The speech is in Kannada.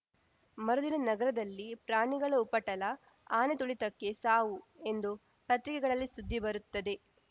ಮರುದಿನ ನಗರದಲ್ಲಿ ಪ್ರಾಣಿಗಳ ಉಪಟಳ ಆನೆ ತುಳಿತಕ್ಕೆ ಸಾವು ಎಂದು ಪತ್ರಿಕೆಗಳಲ್ಲಿ ಸುದ್ದಿ ಬರುತ್ತದೆ